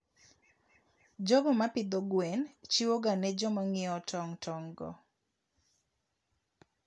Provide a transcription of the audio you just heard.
jogo ma pidho gwen chiwoga ne joma ng'iewo tong' tong'go.